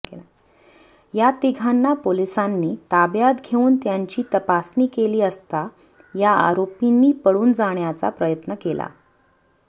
या तिघांना पोलिसांनी ताब्यात घेऊन त्यांची तपासणी केली असता या आरोपींनी पळून जाण्याचा प्रयत्न केला